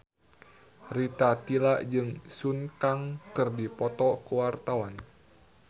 Rita Tila jeung Sun Kang keur dipoto ku wartawan